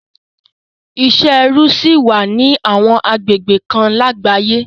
Isẹ ẹrú ṣì wà ní àwọn agbegbe kan lágbàáyé